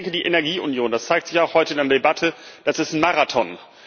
Die Energieunion das zeigt sich auch heute in der Debatte ist ein Marathon.